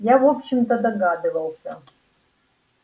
я в общем-то догадывался